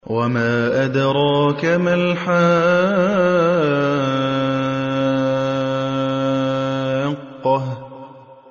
وَمَا أَدْرَاكَ مَا الْحَاقَّةُ